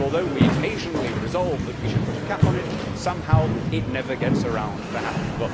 Although we occasionally say that we should put a cap on it, it somehow never gets around to happening.